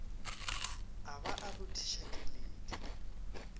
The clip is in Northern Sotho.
a ba a rothiša keledi